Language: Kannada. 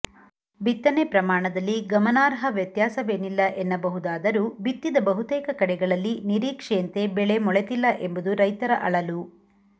ಬಿತ್ತನೆ ಪ್ರಮಾಣದಲ್ಲಿ ಗಮನಾರ್ಹ ವ್ಯತ್ಯಾಸವೇನಿಲ್ಲ ಎನ್ನಬಹುದಾದರೂ ಬಿತ್ತಿದ ಬಹುತೇಕ ಕಡೆಗಳಲ್ಲಿ ನಿರೀಕ್ಷೆಯಂತೆ ಬೆಳೆ ಮೊಳೆತಿಲ್ಲ ಎಂಬುದು ರೈತರ ಅಳಲು